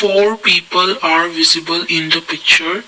four people are visible in the picture.